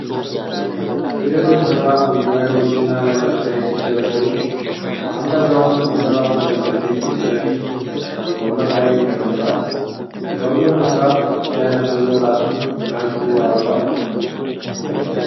ትልልቅ መጻሕፍት በመደርደሪያዎችና በመሬት ላይ ሲደረደሩ፣ አንድ አዛውንት መጻሕፍት መደብር ፊት ለፊት ወንበር ላይ ተቀምጠዋል። ሰውየው መጽሐፍ እያነበበ ራሱን ከሕዝቡ አርቋል።